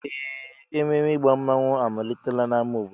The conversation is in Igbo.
Ee! Ememe ịgba mmanwụ amalitela n'ámá obodo.